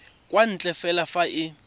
kwa ntle fela fa e